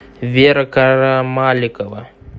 вера карамаликова